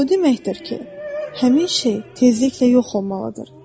O deməkdir ki, həmin şey tezliklə yox olmalıdır.